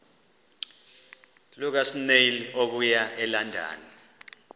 lukasnail okuya elondon